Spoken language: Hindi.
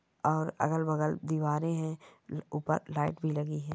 और अगल-बगल दीवारे है ऊपर लाइट भी लगी है।